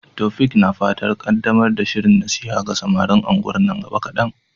Taofiq na fatan kaddamar da shirin nasiha ga samarin unguwar nan gaba kadan.